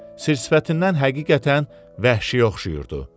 Sir-sifətindən həqiqətən vəhşiyə oxşayırdı.